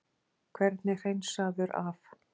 Hvernig hreinsaður af?